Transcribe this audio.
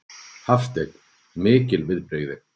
Hafsteinn: Mikil viðbrigði?